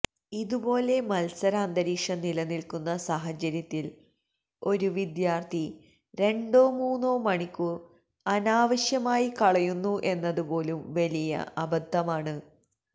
ഇതുപോലെ മത്സാരന്തരീക്ഷം നിലനില്ക്കുന്ന സാഹചര്യത്തിൽ ഒരു വിദ്യാർത്ഥി രണ്ടോ മൂന്നോ മണിക്കൂർ അനാവശ്യമായി കളയുന്നു എന്നതുപോലും വലിയ അബദ്ധമാണ്